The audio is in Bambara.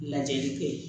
Lajɛli kɛ